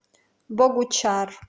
богучар